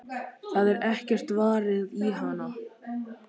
Það er ekkert varið í hana.